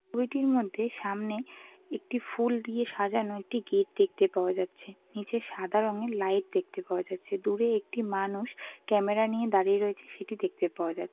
ছবিটির মধ্যে সামনে একটি ফুল দিয়ে সাজানো একটি গেট দেখতে পাওয়া যাচ্ছে। নিচে সাদা রঙের লাইট দেখতে পাওয়া যাচ্ছে। দূরে একটা মানুষ ক্যামেরা নিয়ে দাঁড়িয়ে রয়েছে সেটি দেখতে পাওয়া যা--